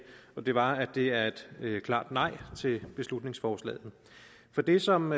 og det var at det er et klart nej til beslutningsforslaget for det som